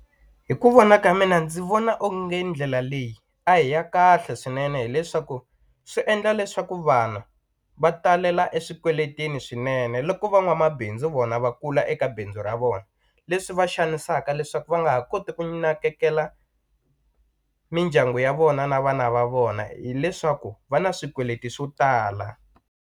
Hi ku vona ka mina ndzi vona onge ndlela leyi a hi ya kahle swinene hileswaku swi endla leswaku vanhu va talela eswikweletini swinene loko van'wamabindzu vona va va kula eka bindzu ra vona leswi va xanisaka leswaku va nga ha koti ku nakekela mindyangu ya vona na vana va vona hileswaku va na swikweleti swo tala.